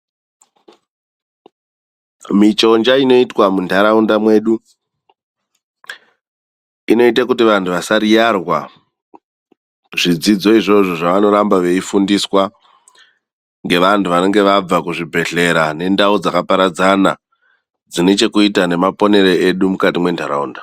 Michonja inoitwa muntaraunda inoita kuti vantu vasariyarwa, zvidzidzo izvozvo zvavanorambwa vei fundiswa ngevantu vanenge vanga kuzvibhedhlera nendau dzakaparadzana dzine chekuita nemaponere entaraunda.